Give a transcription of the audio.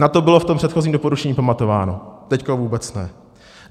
Na to bylo v tom předchozím doporučení pamatováno, teď vůbec ne.